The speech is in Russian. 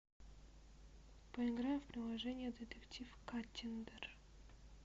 поиграем в приложение детектив каттиндер